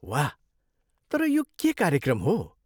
वाह! तर यो के कार्यक्रम हो?